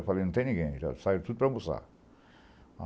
Eu falei, não tem ninguém, já saíram tudo para almoçar.